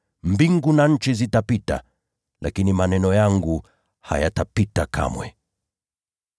Mbingu na nchi zitapita, lakini maneno yangu hayatapita kamwe.